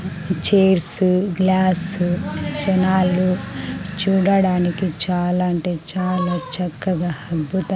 chairs glass జనాలు చూడడానికి చాలా అంటే చాలా చక్కగా అద్భుత --